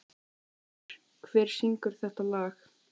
Eivör, hver syngur þetta lag?